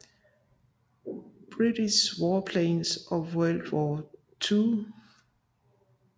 British Warplanes of World War II